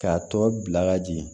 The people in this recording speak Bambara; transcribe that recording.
K'a tɔ bila ka jigin